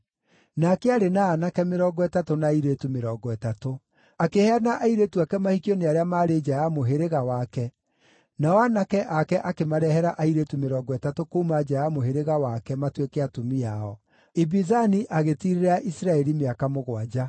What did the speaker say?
Nake aarĩ na aanake mĩrongo ĩtatũ na airĩtu mĩrongo ĩtatũ. Akĩheana airĩtu ake mahikio nĩ arĩa maarĩ nja ya mũhĩrĩga wake, nao aanake ake akĩmarehere airĩtu mĩrongo ĩtatũ kuuma nja ya mũhĩrĩga wake matuĩke atumia ao. Ibizani agĩtiirĩrĩra Isiraeli mĩaka mũgwanja.